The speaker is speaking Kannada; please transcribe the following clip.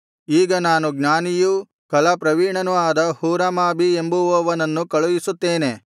ಈಗ ನಾನು ಜ್ಞಾನಿಯು ಕಲಾ ಪ್ರವೀಣನೂ ಆದ ಹೂರಾಮಾಬೀ ಎಂಬುವವನನ್ನು ಕಳುಹಿಸುತ್ತೇನೆ